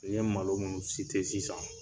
N ye malo minnu sisan